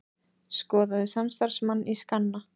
Skoðaði samstarfsmann í skanna